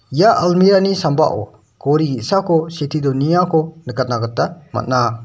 ia almirah-ni sambao gori ge·sako sitee donengako nikatna gita man·a.